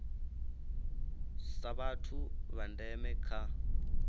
sa vhathu vha ndeme kha